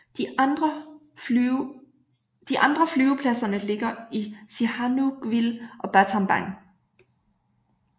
De andre flyvepladserne ligger i Sihanoukville og Battambang